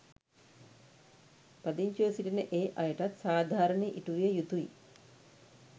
පදිංචිව සිටින ඒ අයටත් සාධාරණය ඉටු විය යුතුයි.